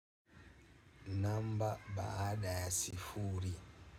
Namba baada sifuri.